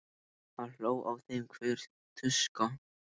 Það hló á þeim hver tuska.